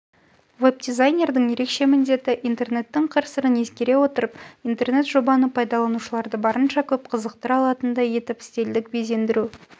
вебдизайнердің ерекше міндеті интернеттің қыр-сырын ескере отырып интернетжобаны пайдаланушыларды барынша көп қызықтыра алатындай етіп стильдік безендіру